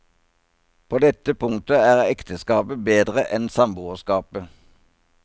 På dette punktet er ekteskapet bedre enn samboerskapet.